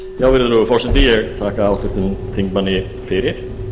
virðulegur forseti ég þakka háttvirtum þingmanni fyrir